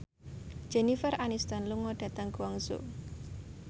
Jennifer Aniston lunga dhateng Guangzhou